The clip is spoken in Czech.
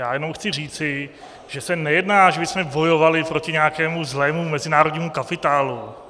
Já jenom chci říci, že se nejedná, že bychom bojovali proti nějakému zlému mezinárodnímu kapitálu.